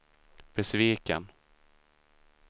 besviken